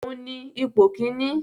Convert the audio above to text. Òun ní ipò kíní